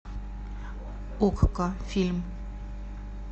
окко фильм